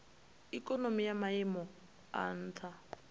ikonomi ya maiimo a nha